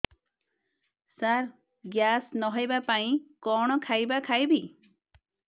ସାର gas ନ ହେବା ପାଇଁ କଣ ଖାଇବା ଖାଇବି